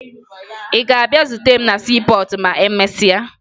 Ị ga-abịa zute m na siipọọtụ ma emesịa?